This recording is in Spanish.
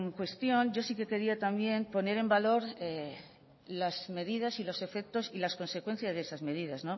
cuestión yo sí que quería también poner en valor las medidas los efectos y las consecuencias de esas medidas